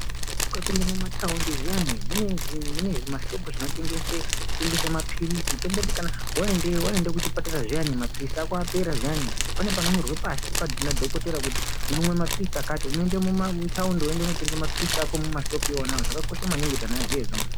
Ukapinda mumataundi zviyani mune zvimashopu zvinotengesa tengesa mapirizi tomboti waendeyo waenda kuzvipatara kana mapirizi ako apera zviyani pane panonyorwa pashi nadhokodheya kuti unoona mapirizi akati kune mataundi wondotenga mapirizi anoonekwa mumashopu imomo zvakakosha maningi kuti vantu vazive izvozvo.